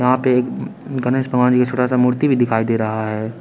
यहां पे गनेश भगवान की छोटा सा मूर्ति भी दिखाई दे रहा है।